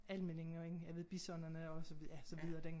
Almindingen ja ved bisonerne og så videre ja så videre den